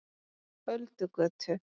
Öldugötu